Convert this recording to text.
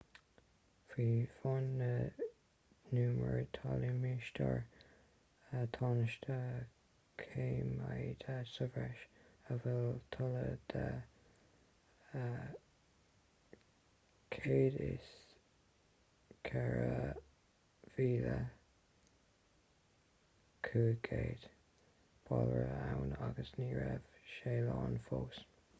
faoi bhun na n-umar tá limistéar tánaisteach coimeádta sa bhreis a bhfuil toilleadh de 104,500 bairille ann agus ní raibh sé lán fós